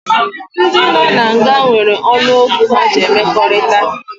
Ndị nọ na nga nwere olu okwu ha ji emekọrịta